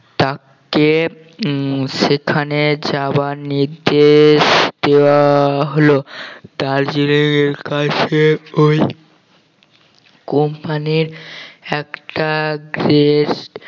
তাকে উম সেখানে যাওয়ার নির্দেশ দেওয়া হলো তাজুড়ের কাছে ওই company র একটা guest